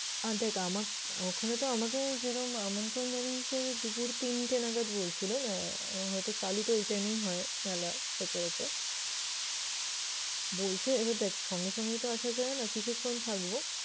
আর দেখ আমাক~ ওখানে তো আমাকে যেরকম আমন্ত্রণ জানিয়েছে দুপুর তিনটে নাগাদ বলছিল আহ হয়তো চালু তো ওই time এই হয় মেলা সচরাচর। বলছে এবার দেখ সঙ্গেসঙ্গেই তো আসা যায় না। কিছুক্ষণ থাকবো